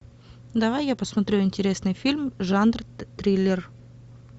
давай я посмотрю интересный фильм жанр триллер